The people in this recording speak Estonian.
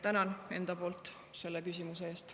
Tänan enda poolt selle küsimuse eest.